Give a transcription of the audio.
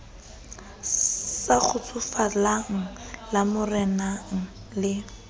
sa kgotsofalang la marenana le